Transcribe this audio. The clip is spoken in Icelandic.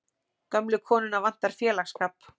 Gömlu konuna vantar félagsskap.